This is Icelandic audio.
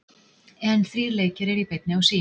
En þrír leikir eru í beinni á Sýn.